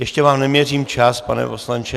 Ještě vám neměřím čas, pane poslanče.